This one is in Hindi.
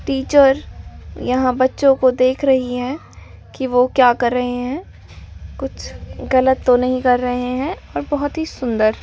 टीचर यहां बच्चों को देख रही है कि वो क्या कर रहे हैं कुछ गलत तो नहीं कर रहे हैं और बहुत ही सुंदर--